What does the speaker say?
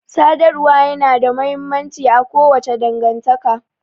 Sadarwa ya na da mahimmanci a kowace dangantaka